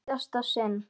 Í síðasta sinn.